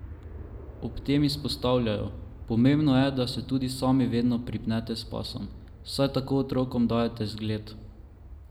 Ob tem izpostavljajo: 'Pomembno je, da se tudi sami vedno pripnete s pasom, saj tako otrokom dajete zgled.